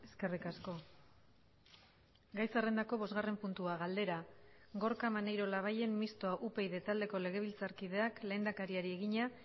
eskerrik asko gai zerrendako bosgarren puntua galdera gorka maneiro labayen mistoa upyd taldeko legebiltzarkideak lehendakariari egina